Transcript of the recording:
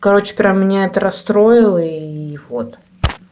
короче прям меня это расстроило и вот